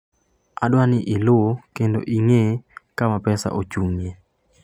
"Adwaro ni iluw kendo ing'e kama pesa ochung'ie...?"